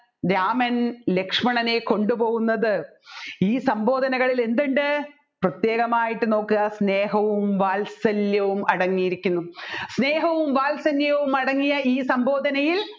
രാമൻ ലക്ഷ്മണനെ കൊണ്ടുപോവുന്നത് ഈ സംബോധനകളിൽ എന്തുണ്ട് പ്രത്യേകമായിട്ട് നോക്കുക സ്നേഹവും വാലെവാത്സല്യവും അടങ്ങി ഇരിക്കുന്നു സ്നേഹവും വാത്സല്യവും അടങ്ങിയ ഈ സംബോധനയിൽ